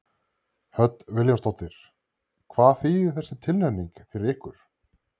Hödd Vilhjálmsdóttir: Hvað þýðir þessi tilnefning fyrir ykkur?